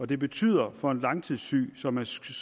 det betyder for en langtidssyg som er syg